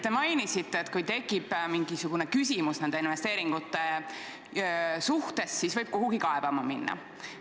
Te mainisite, et kui tekib mingisugune küsimus nende investeeringute suhtes, siis võib kuhugi kaebama minna.